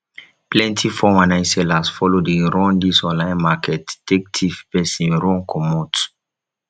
plenti 419 sellers follow dey run dis online market take tiff pesin run comot